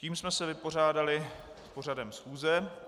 Tím jsme se vypořádali s pořadem schůze.